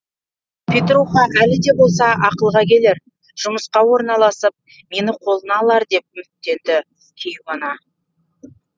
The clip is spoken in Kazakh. петруха әлі де болса ақылға келер жұмысқа орналасып мені қолына алар деп үміттенеді кейуана